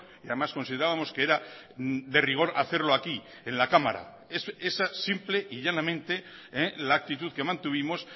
y además considerábamos que era de rigor hacerlo aquí en la cámara esa simple y llanamente la actitud que mantuvimos